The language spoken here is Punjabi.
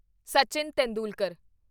ਸਚਿਨ ਤੇਂਦੁਲਕਰ